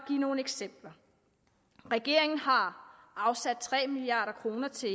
nogle eksempler regeringen har afsat tre milliard kroner til